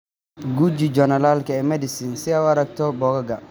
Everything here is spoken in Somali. Guji joornaalka eMedicine si aad u aragto bogga.